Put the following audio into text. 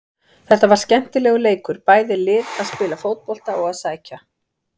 Þetta var skemmtilegur leikur, bæði lið að spila fótbolta og að sækja.